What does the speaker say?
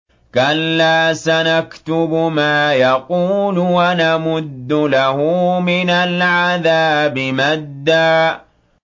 كَلَّا ۚ سَنَكْتُبُ مَا يَقُولُ وَنَمُدُّ لَهُ مِنَ الْعَذَابِ مَدًّا